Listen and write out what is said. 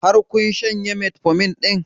Har kun shanye metformin ɗin?